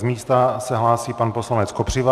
Z místa se hlásí pan poslanec Kopřiva.